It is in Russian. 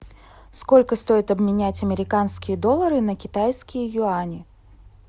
сколько стоит обменять американские доллары на китайские юани